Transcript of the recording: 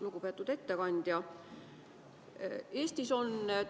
Lugupeetud ettekandja!